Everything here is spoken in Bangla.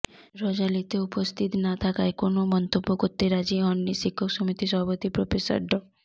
র্যালিতে উপস্থিত না থাকায় কোনও মন্তব্য করতে রাজি হননি শিক্ষক সমিতির সভাপতি প্রফেসর ড